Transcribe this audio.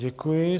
Děkuji.